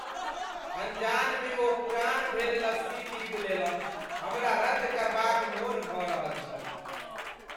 अनजान में ओ पुरान भेल लस्सी पी छलहुँ हमरा रद्द करबा क मोन भ रहल छल ।